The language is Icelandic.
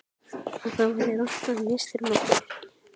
Að það væri rangt að misþyrma fólki.